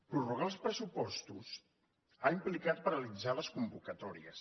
prorrogar els pressupostos ha implicat paralitzar les convocatòries